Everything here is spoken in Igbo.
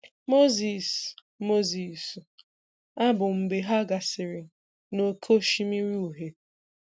Moses Moses abù mb͕e ha gasiri n'Oké Osimiri Uhie.